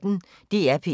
DR P1